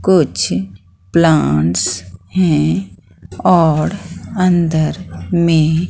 कुछ प्लांट्स हैं और अंदर में--